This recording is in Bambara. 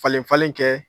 Falen falen kɛ